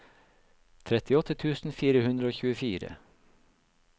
trettiåtte tusen fire hundre og tjuefire